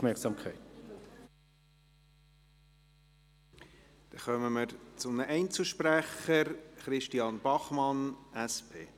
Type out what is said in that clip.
Kommen wir zu den Einzelsprechern: Christian Bachmann, SP.